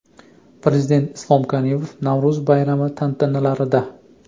Prezident Islom Karimov Navro‘z bayrami tantanalarida.